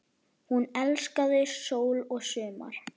Hún elskaði sól og sumar.